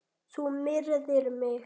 Þú myrðir mig!